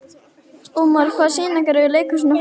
Ómar, hvaða sýningar eru í leikhúsinu á föstudaginn?